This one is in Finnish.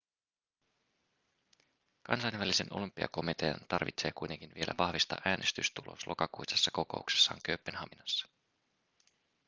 kansainvälisen olympiakomitean tarvitsee kuitenkin vielä vahvistaa äänestystulos lokakuisessa kokouksessaan kööpenhaminassa